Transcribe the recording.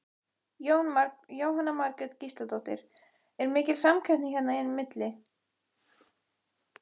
Jóhanna Margrét Gísladóttir: Er mikil samkeppni hérna á milli?